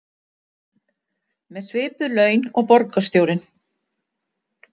Með svipuð laun og borgarstjórinn